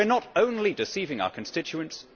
We are not only deceiving our constituents